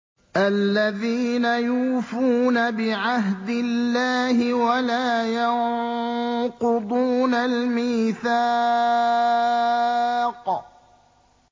الَّذِينَ يُوفُونَ بِعَهْدِ اللَّهِ وَلَا يَنقُضُونَ الْمِيثَاقَ